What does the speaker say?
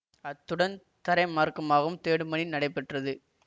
அத்துடன் தரைமார்க்கமாகவும் தேடும் பணி நடைபெற்றது